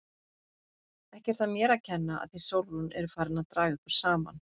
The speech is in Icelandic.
Ekki er það mér að kenna að þið Sólrún eruð farin að draga ykkur saman!